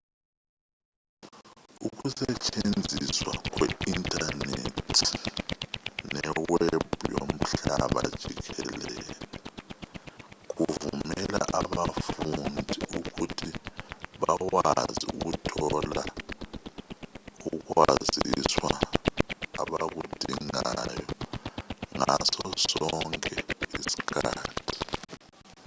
ukusetshenziswa kwe-inthanethi newebhu yomhlaba jikelele kuvumela abafundi ukuthi bakwazi ukuthola ukwaziswa abakudingayo ngaso sonke isikhathi